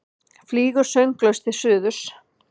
Flýgur sönglaus til suðurs.